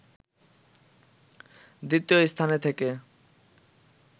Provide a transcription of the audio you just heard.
দ্বিতীয় স্থানে থেকে